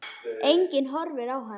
Enginn horfir á hana.